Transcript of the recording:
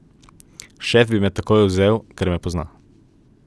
Šef bi me takoj vzel, ker me pozna.